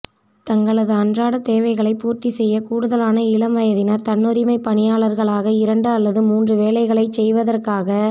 தங்களது அன்றாடத் தேவைகளைப் பூர்த்திசெய்ய கூடுத லான இளம் வயதினர் தன்னுரிமை பணியாளர்களாக இரண்டு அல்லது மூன்று வேலைகளைச் செய்வதாக